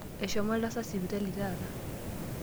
Eshomo oltasat sipitali taata.